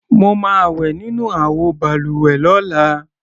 Mo máa wẹ̀ nínú àwọ balùwẹ̀ lọ́la.